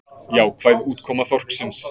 Jákvæð útkoma þorsksins